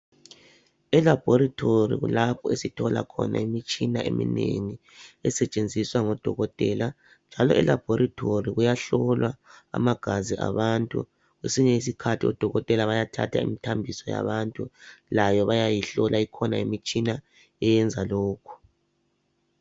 Elabhorithori kulapho esithola khona imitshina eminengi esetshenziswa ngodokotela, njalo elabhorithori kuyahlolwa amagazi abantu. Kwesinye isikhathi odokotela bayathatha imithambiso yabantu. Layo bayayihlola, ikhona imitshina eyenza lokho.